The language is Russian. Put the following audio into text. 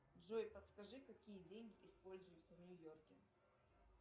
джой подскажи какие деньги используются в нью йорке